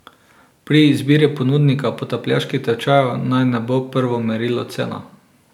Pri izbiri ponudnika potapljaških tečajev naj ne bo prvo merilo cena.